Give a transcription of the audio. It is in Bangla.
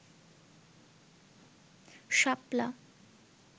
শাপলা